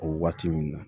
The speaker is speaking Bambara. O waati ninnu na